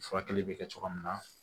Furakɛli bɛ kɛ cogoya min na